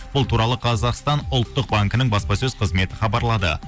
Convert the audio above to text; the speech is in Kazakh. бұл туралы қазақстан ұлттық банкінің баспасөз қызметі хабарлады